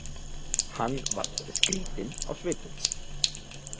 Hann varð skrítinn á svipinn.